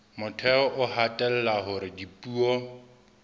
motheo o hatella hore dipuo